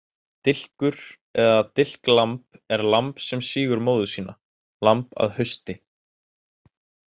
Dilkur eða dilklamb er lamb sem sýgur móður sína, lamb að hausti.